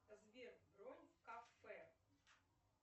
сбер бронь в кафе